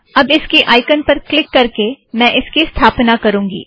अब इसकी आइकॉन पर क्लिक करके मैं इसकी स्थापना करूँगी